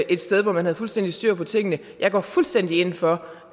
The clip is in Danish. et sted hvor man havde fuldstændig styr på tingene jeg går fuldstændig ind for